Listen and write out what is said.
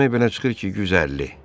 Demək belə çıxır ki, 150.